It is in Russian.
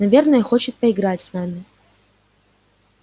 наверное хочет поиграть с нами